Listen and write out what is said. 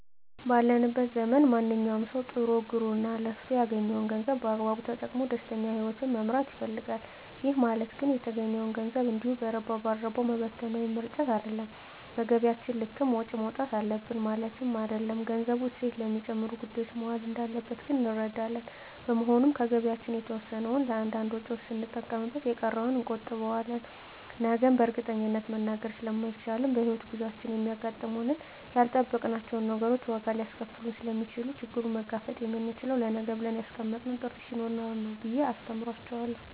ባለንበት ዘመን ማንኛዉም ሰዉ ጥሮ ግሮእና ለፍቶ ያገኘዉን ገንዘብ በአግባቡ ተጠቅሞ ደስተኛ ህይወትን መምራት ይፈልጋል ይህ ማለት ግን የተገኘዉን ገንዘብ እንዲሁ በረባ ባረባዉ መበተን ወይም መርጨት አይደለም በገቢያችን ልክም ወጪ ማዉጣት አለብን ማለትም አይደለም ገንዘቡ እሴት ለሚጨምሩ ጉዳዮች መዋል እንዳለበት ግን እንረዳለን በመሆኑም ከገቢያችን የተወሰነዉን ለእያንዳንድ ወጪዎች ስንጠቀምበት የተቀረዉን ደግሞ እንቆጥበዋለን ነገን በእርግጠኝነት መናገር ስለማይቻልም በሕይወት ጉዟችን የሚያጋጥሙን ያልጠበቅናቸዉ ነገሮች ዋጋ ሊያስከፍሉን ስለሚችሉ ችግሩን መጋፈጥ የምንችለዉ ለነገ ብለን ያስቀመጥነዉ ጥሪት ስኖረን ነዉ ብየ አስተምራቸዋለሁ